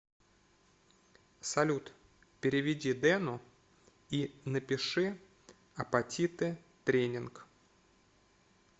салют переведи дену и напиши апатиты тренинг